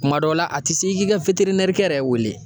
Kuma dɔw la, a ti se i k'i ka kɛ yɛrɛ wele.